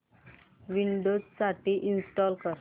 Windows साठी install कर